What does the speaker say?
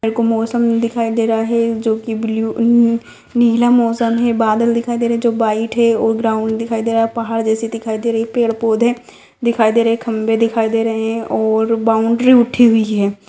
यहाँ का मौसम दिखाई दे रहा है जो की ब्लू नीला मौसम है बादल दिखाई दे रहा है जो व्हाइट है और ग्राउंड दिखाई दे रहा है पहाड़ जैसा दिखाई दे रहा है पेड़ पौधे दिखाई दे रहे है खम्भे दिखाई दे रहे है और बाउंड्री उठी हुई है।